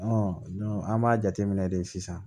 an b'a jateminɛ de sisan